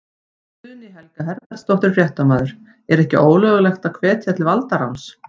Guðný Helga Herbertsdóttir, fréttamaður: En er ekki ólöglegt að hvetja til valdaráns?